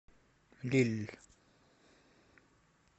лилль